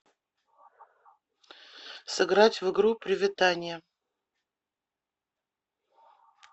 сыграть в игру приветанье